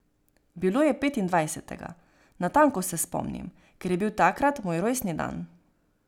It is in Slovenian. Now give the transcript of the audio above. Bilo je petindvajsetega, natanko se spomnim, ker je bil takrat moj rojstni dan.